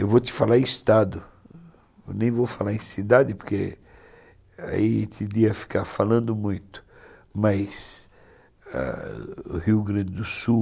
Eu vou te falar em estado, nem vou falar em cidade, porque aí teria que ficar falando muito, mas Rio Grande do Sul...